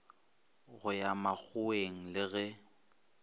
go ya makgoweng le ge